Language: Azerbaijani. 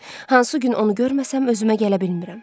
Hansı gün onu görməsəm özümə gələ bilmirəm.